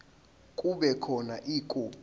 kube khona ikhophi